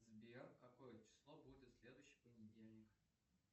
сбер какое число будет следующий понедельник